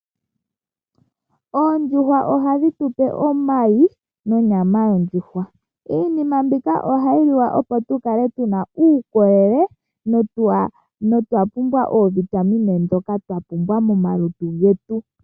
Oondjuwa ohadhi tu pe omayi nonyama yondjuhwa. Iinima mbika ohayi liwa opo tu kale tu na uukolele noovitamine ndhoka twa pumbwa momalutu getu.